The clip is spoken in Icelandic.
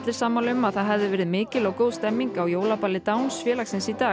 sammála um að það hefði verið mikil og góð stemning á jólaballi Downs félagsins í dag